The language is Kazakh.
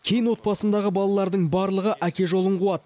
кейін отбасындағы балалардың барлығы әке жолын қуады